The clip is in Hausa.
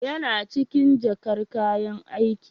Yana cikin jakar Kayan aiki.